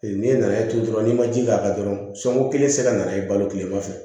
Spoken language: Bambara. N'e nan'a turu dɔrɔn n'i ma ji k'a kan dɔrɔn sunguru kelen tɛ se ka nana i balo tilema fɛ